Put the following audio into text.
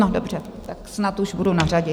No dobře, tak snad už budu na řadě.